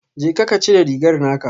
Jeka ka cire rigar naka